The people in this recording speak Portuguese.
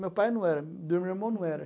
Meu pai não era, do meu irmão não era.